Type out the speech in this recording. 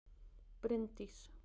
Bryndís